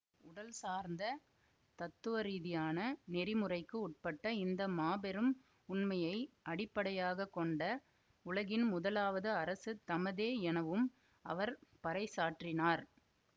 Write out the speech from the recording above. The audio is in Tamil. உடல்சார்ந்த தத்துவரீதியான நெறிமுறைக்கு உட்பட்ட இந்த மாபெரும் உண்மையை அடிப்படையாக கொண்ட உலகின் முதலாவது அரசு தமதே எனவும் அவர் பறைசாற்றினார்